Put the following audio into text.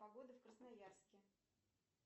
погода в красноярске